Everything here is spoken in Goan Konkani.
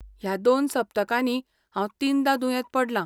ह्या दोन सप्तकांनी हांव तीनदां दुयेंत पडलां.